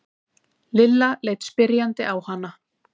Lilla leit spyrjandi á hana.